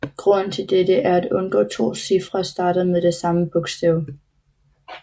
Grunden til dette er at undgå to cifre starter med det samme bogstav